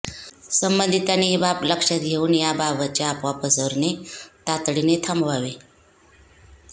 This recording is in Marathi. संबंधितांनी ही बाब लक्षात घेऊन या बाबतच्या अफवा पसरवणे तातडीने थांबवावे